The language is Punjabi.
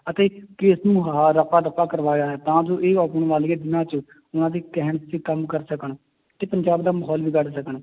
ਅਤੇ case ਨੂੰ ਆਹ ਰਫ਼ਾ ਦਫ਼ਾ ਕਰਵਾਇਆ ਹੈ ਤਾਂ ਜੋ ਇਹ ਆਉਣ ਵਾਲੇ ਦਿਨਾਂ 'ਚ ਉਹਨਾਂ ਦੇ ਕਹਿਣ ਤੇ ਕੰਮ ਕਰ ਸਕਣ ਤੇ ਪੰਜਾਬ ਦਾ ਮਾਹੌਲ ਵਿਗਾੜ ਸਕਣ